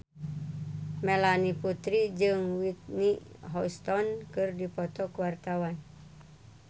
Melanie Putri jeung Whitney Houston keur dipoto ku wartawan